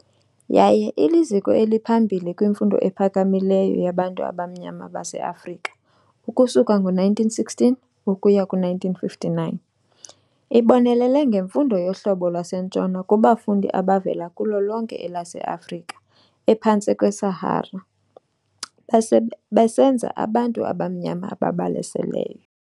Yaye iliziko eliphambili kwimfundo ephakamileyo yabantu abamnyama baseAfrika ukusuka ngo1916 ukuya ku1959. Ibonelele ngemfundo yohlobo lwaseNtshona kubafundi abavela kulo lonke elase-Afrika ephantsi kweSahara, besenza abantu abamnyama ababalaseleyo.